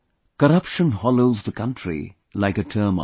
Corruption hollows the country like a termite